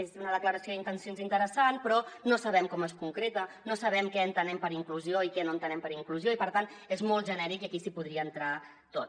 és una declaració d’intencions interessant però no sabem com es concreta no sabem què entenem per inclusió i què no entenem per inclusió i per tant és molt genèric i aquí hi podria entrar tot